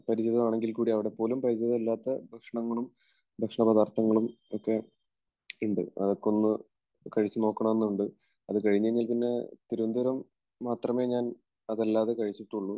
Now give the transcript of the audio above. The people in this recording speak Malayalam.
പരിചിതമാണെങ്കിൽക്കൂടി അവിടെപ്പോലും പരിചിതമല്ലാത്ത ഭക്ഷണങ്ങളും ഭക്ഷണപദാർത്ഥങ്ങളും ഒക്കെ ഉണ്ട്. അതൊക്കെ ഒന്ന് കഴിച്ചുനോക്കണമെന്നുണ്ട്. അത് കഴിഞ്ഞുകഴിഞ്ഞാൽ പിന്നെ തിരുവനന്തപുരം മാത്രമേ ഞാൻ അതല്ലാതെ കഴിച്ചിട്ടുള്ളൂ.